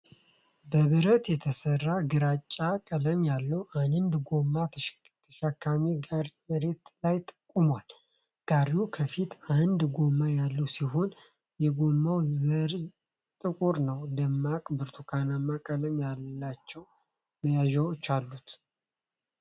በብረት የተሠራ፣ ግራጫ ቀለም ያለው አንድ ጎማ ተሸካሚ ጋሪ መሬት ላይ ቆሟል። ጋሪው ከፊት አንድ ጎማ ያለው ሲሆን፣ የጎማው ጠርዝ ጥቁር ነው። ደማቅ ብርቱካንማ ቀለም ያላቸው መያዣዎች አሉት፡፡